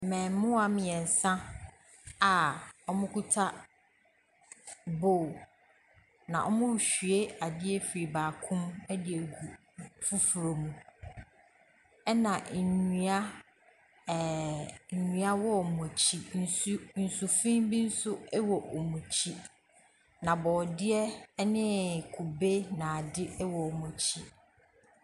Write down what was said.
Mmaamua mmiɛnsa a wɔkita bowls. Na wɔrehwie adeɛ firi baako mu agu foforɔ mu. Na nnua wɔ eɔn akyi. Nsu nsufi bi nso wɔ wɔn akyi. Na borɔdeɛ ne kube ne ade wɔ wɔn akyi.